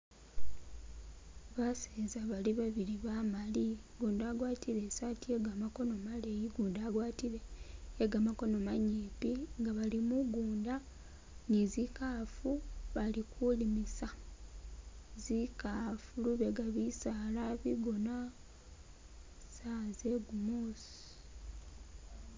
Baseza bali babili Bamali, gundi agwatile isati ye gamakono manyimpi nga bali mugunda nezikafu bali kulimisa zikafu, lubega bisaala bigoona sawa zegumusi .